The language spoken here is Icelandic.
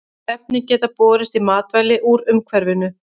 Efnin geta borist í matvæli úr umhverfinu.